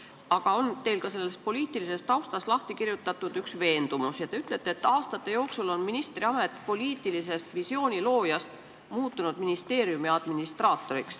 Aga teil on selles poliitilises taustas kirja pandud väide, et aastate jooksul on ministrist poliitilise visiooni looja asemel saanud ministeeriumi administraator.